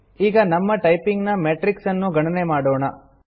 ಈಗ ನಮ್ಮಟೈಪಿಂಗ್ ನ ಮೆಟ್ರಿಕ್ಸ್ ಅನ್ನು ಗಣನೆ ಮಾಡೋಣ